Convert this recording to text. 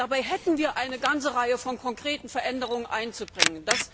Dabei hätten wir eine ganze Reihe von konkreten Veränderungen einzubringen.